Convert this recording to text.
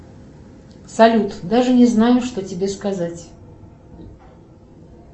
салют даже не знаю что тебе сказать